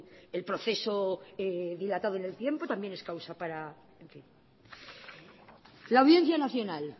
el proceso dilatado en el tiempo también es causa la audiencia nacional